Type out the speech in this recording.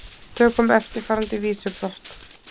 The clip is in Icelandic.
Tökum eftirfarandi vísubotn